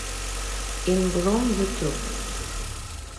ин блум ютуб